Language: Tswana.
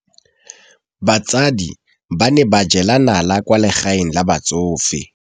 Basadi ba ne ba jela nala kwaa legaeng la batsofe.